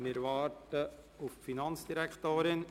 Wir warten auf die Finanzdirektorin.